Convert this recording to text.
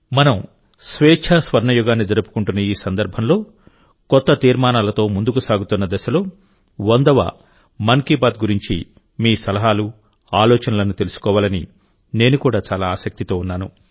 మనం స్వేచ్ఛా స్వర్ణయుగాన్ని జరుపుకుంటున్న ఈ సందర్భంలో కొత్త తీర్మానాలతో ముందుకు సాగుతున్న దశలోవందవమన్ కీ బాత్ గురించి మీ సలహాలు ఆలోచనలను తెలుసుకోవాలని నేను కూడా చాలా ఆసక్తితో ఉన్నాను